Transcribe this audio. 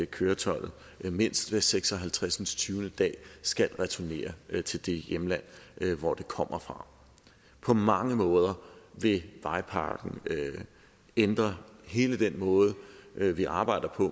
køretøjet mindst hver seks og halvtreds dag skal returnere til det hjemland hvor det kommer fra på mange måder vil vejpakken ændre hele den måde vi arbejder